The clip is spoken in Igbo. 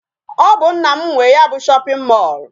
Ọ bụ nna m nwe ya bụ shopping mall.